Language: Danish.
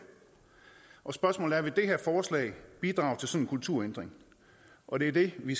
og spørgsmålet er vil det her forslag bidrage til sådan en kulturændring og det er det vi